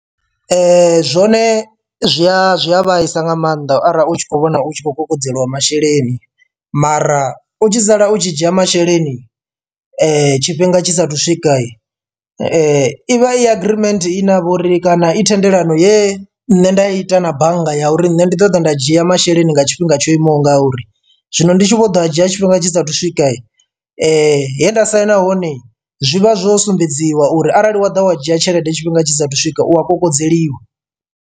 Zwone zwi a zwi a vhaisa nga maanḓa arali u tshi khou vhona u tshi khou kokodzeliwa masheleni mara u tshi sala u tshi dzhia masheleni tshifhinga tshisa thu swika ivha i agreement ine ya vha uri kana i thendelano ye nne nda ita na bannga ya uri nṋe ndi ṱoḓa nda dzhia masheleni nga tshifhinga tsho imaho nga uri. Zwino ndi tshi vho ḓo a dzhia tshifhinga tshisa thu swika he nda saina hone zwi vha zwo sumbedziwa uri arali wa ḓa wa dzhia tshelede tshifhinga tshisa thu swika u a kokodzeliwa.